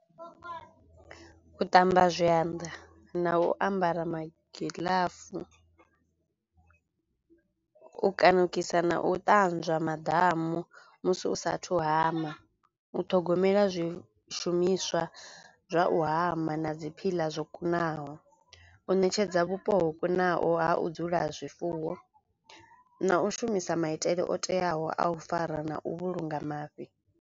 U ṱamba zwanḓa na u ambara magiḽafu, u kanukisa na u ṱanzwa maḓamu musi u sathu hama, u ṱhogomela zwishumiswa zwa u hama na dzi phiḽa zwo kunaho, u ṋetshedza vhupo ho kunaho ha u dzula zwifuwo na u shumisa maitele o teaho a u fara na u vhulunga mafhi.